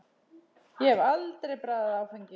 Ég hef aldrei bragðað áfengi.